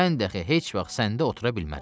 Mən dəxi heç vaxt səndə otura bilmərəm.